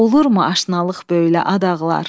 Olurmu aşnalıq böylə ad ağlar?